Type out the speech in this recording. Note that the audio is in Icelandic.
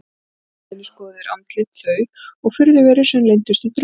Í leiðinni skoðuðu þeir andlit þau og furðuverur sem leyndust í drumbunum.